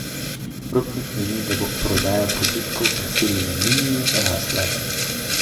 Rupnik meni, da bo prodaja produktov preseljene linije rasla.